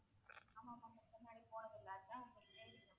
ஆமா ma'am இதுக்கு முன்னாடி போனதில்லை இதான் first time